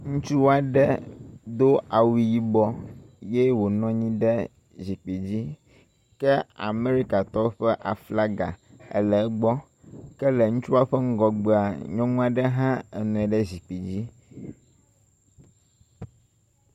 Ŋutsu aɖe do awu yibɔ ye wònɔ anyi ɖe zikpui dzi ke Amerikatɔwo ƒe aflaga ele egbɔ. Ke le ŋutsua ƒe ŋgɔgbea, nyɔnu aɖe hã enɔ anyi ɖe zikpui dzi.